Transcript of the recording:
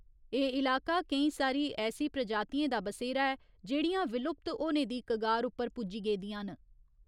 एह् इलाका, केईं सारी ऐसी प्रजातिएं दा बसेरा ऐ जेह्ड़ियां विलुप्त होने दी कगार उप्पर पुज्जी गेदियां न।